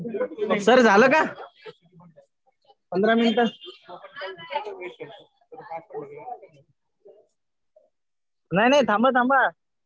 Sir झालं का पंधरा मिनिटं. नाही नाही थांबा थांबा.